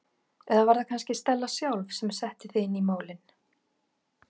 Eða var það kannski Stella sjálf sem setti þig inn í málin?